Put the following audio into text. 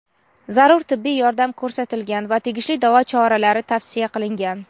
zarur tibbiy yordam ko‘rsatilgan va tegishli davo choralari tavsiya qilingan.